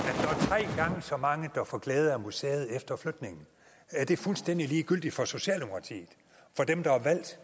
i så mange der får glæde af museet efter flytningen er det fuldstændig ligegyldigt for socialdemokratiet for dem der er valgt